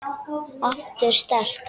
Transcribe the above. Aftur sterk.